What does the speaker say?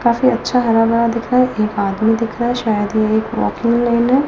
काफी अच्छा हरा भरा दिख रहा है एक आदमी दिख रहा है शायद ये एक वॉकिंग लेन है।